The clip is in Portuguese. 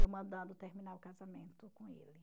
Eu mandando terminar o casamento com ele.